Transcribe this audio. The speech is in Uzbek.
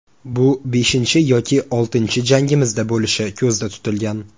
Bu beshinchi yoki oltinchi jangimizda bo‘lishi ko‘zda tutilgan.